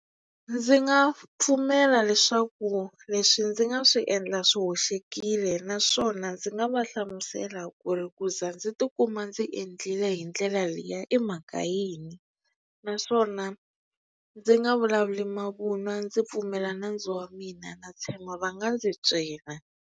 Ndzi nga pfumela leswaku leswi ndzi nga swi endla swi hoxekile naswona ndzi nga va hlamusela ku ri ku ze ndzi tikuma ndzi endlile hi ndlela liya i mhaka yini naswona ndzi nga vulavuli mavunwa ndzi pfumela nandzu wa mina na tshemba va nga ndzi twela.